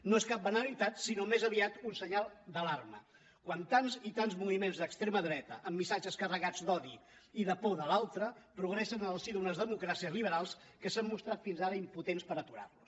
no és cap banalitat sinó més aviat un senyal d’alarma quan tants i tants moviments d’extrema dreta amb missatges carregats d’odi i de por de l’altre progressen en el si d’unes democràcies liberals que s’han mostrat fins ara impotents per aturar los